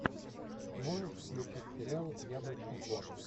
можешь включить сериал яблочный двор